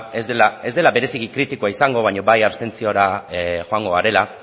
ez dela bereziki kritikoa izango baina bai abstentziora joango garela